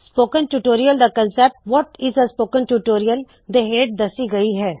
spoken tutorial ਦੀ ਮੰਕਲਪਨਾ what is a spoken tutorial ਦੇ ਹੇਠ ਦੱਸੀ ਗਈ ਹੈ